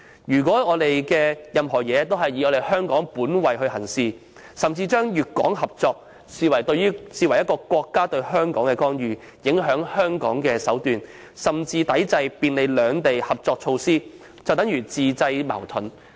如果任何事情均以香港本位行事，甚至把粵港合作視為國家對香港的干預、影響香港的手段，抵制便利兩地合作的措施，那和自製矛盾並無分別。